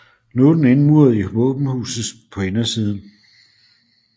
Nu er den indmuret i våbenhuset på indersiden